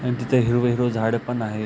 आणि तिथं हिरवं हिरवं झाडं पण आहेत.